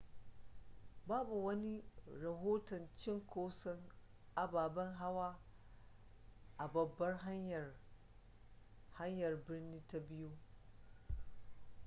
babu wani rahoton cinkoson ababen hawa a babbar hanyar hanyar birnin ta biyu